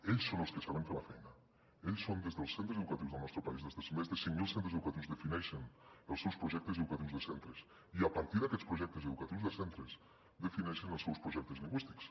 ells són els que saben fer la feina ells són els que des dels centres educatius del nostre país des dels més de cinc mil centres educatius defineixen els seus projectes educatius de centres i a partir d’aquests projectes educatius de centres defineixen els seus projectes lingüístics